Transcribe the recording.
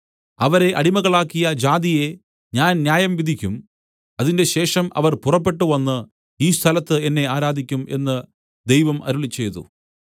അവരെ അടിമകളാക്കിയ ജാതിയെ ഞാൻ ന്യായംവിധിക്കും അതിന്‍റെശേഷം അവർ പുറപ്പെട്ടുവന്ന് ഈ സ്ഥലത്ത് എന്നെ ആരാധിക്കും എന്ന് ദൈവം അരുളിച്ചെയ്തു